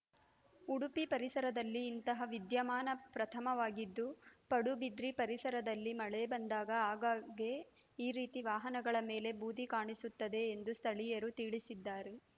ಉಡುಪಿ ಪರಿಸರದಲ್ಲಿ ಇಂತಹ ವಿದ್ಯಮಾನ ಪ್ರಥಮವಾಗಿದ್ದು ಪಡುಬಿದ್ರಿ ಪರಿಸರದಲ್ಲಿ ಮಳೆ ಬಂದಾಗ ಆಗಾಗ್ಗೆ ಈ ರೀತಿ ವಾಹನಗಳ ಮೇಲೆ ಬೂದಿ ಕಾಣಸುತ್ತದೆ ಎಂದು ಸ್ಥಳೀಯರು ತಿಳಿಸಿದ್ದಾರೆ